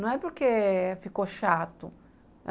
Não é porque ficou chato.